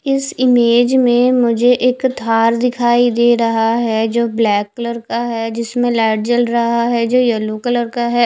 इस इमेज में मुझे एक थार दिखाई दे रहा है जो ब्लैक कलर का है जिसमे लाइट जल रहा है जो यल्लो कलर का है।